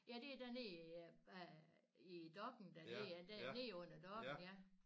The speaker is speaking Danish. Ja det er dernede i dokken dernede ja der nede under dokken ja